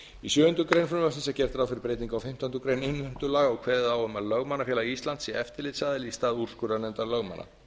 í sjöundu greinar frumvarpsins er gert ráð fyrir breytingu á fimmtándu grein innheimtulaga og kveðið á um að lögmannafélag íslands sé eftirlitsaðili í stað úrskurðarnefndar lögmanna